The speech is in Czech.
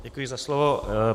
Děkuji za slovo.